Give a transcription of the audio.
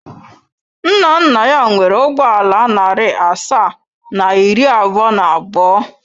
Nna nna ya nwere ụgbọ ala narị asaa na iri abụọ na abụọ.